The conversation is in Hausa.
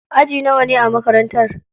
Aji nawane a makarantar?